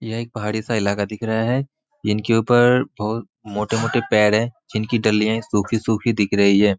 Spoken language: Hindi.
यह एक पहाड़ी सा इलाका दिख रहा है इनके ऊपर बहुत मोटे-मोटे पेड़ है जिनकी डालियाँए सुखी-सुखी दिख रही है।